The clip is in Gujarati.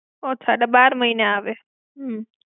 અચ્છા તો બાર મહિને આવે. હમ્મ.